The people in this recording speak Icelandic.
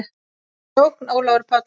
Sókn: Ólafur Páll